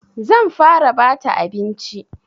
Zan fara bata abinci.